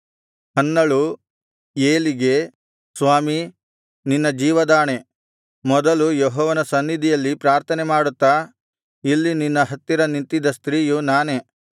ಹನ್ನಳು ಏಲಿಗೆ ಸ್ವಾಮೀ ನಿನ್ನ ಜೀವದಾಣೆ ಮೊದಲು ಯೆಹೋವನ ಸನ್ನಿಧಿಯಲ್ಲಿ ಪ್ರಾರ್ಥನೆಮಾಡುತ್ತಾ ಇಲ್ಲಿ ನಿನ್ನ ಹತ್ತಿರ ನಿಂತಿದ್ದ ಸ್ತ್ರೀಯು ನಾನೇ